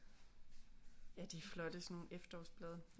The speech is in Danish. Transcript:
Ja de er flotte sådan nogle efterårsblade